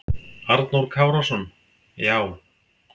Arnór Kárason: Já.